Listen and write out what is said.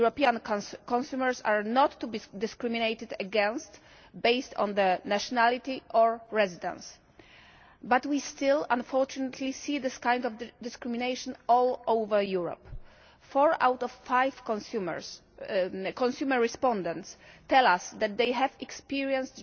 it. European consumers are not to be discriminated against based on their nationality or residence but we still, unfortunately, see this kind of discrimination all over Europe. Four out of five consumer respondents tell us that they have experienced